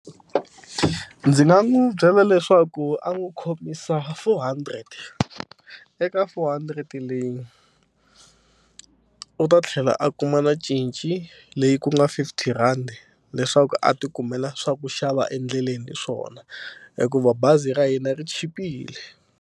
Ndzi nga n'wi byela leswaku a n'wi khomisa four hundred eka four hundred leyi u ta tlhela a kuma na cinci leyi ku nga fifty rhandi leswaku a ti kumela swa ku xava endleleni hi swona hikuva bazi ra hina ri chipile.